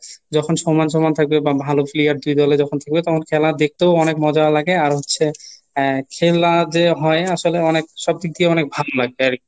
যখন সমান সমান থাকবে বা ভালো player দুই দলে যখন খেলবে তখন খেলা দেখতেও অনেক মজা লাগে আর হচ্ছে আহ খেলা যে হয় আসলে অনেক সব দিক দিয়ে অনেক ভালো লাগবে আর কি.